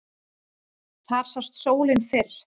Þar sást sólin fyrr.